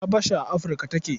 Habasha a Afirka take.